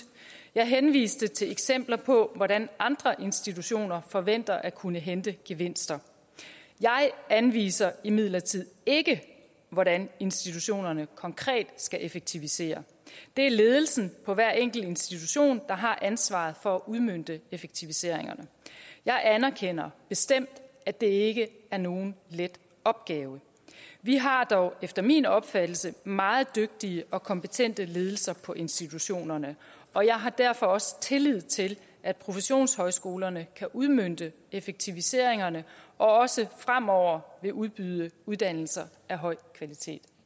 jeg henviste til eksempler på hvordan andre institutioner forventer at kunne hente gevinster jeg anviser imidlertid ikke hvordan institutionerne konkret skal effektivisere det er ledelsen på hver enkelt institution der har ansvaret for at udmønte effektiviseringerne jeg anerkender bestemt at det ikke er nogen let opgave vi har dog efter min opfattelse meget dygtige og kompetente ledelser på institutionerne og jeg har derfor også tillid til at professionshøjskolerne kan udmønte effektiviseringerne og også fremover vil udbyde uddannelser af høj kvalitet